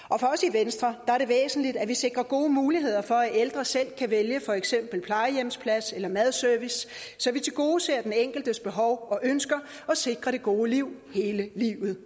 venstre er det væsentligt at vi sikrer gode muligheder for at ældre selv kan vælge for eksempel plejehjemsplads eller madservice så vi tilgodeser den enkeltes behov og ønsker og sikrer det gode liv hele livet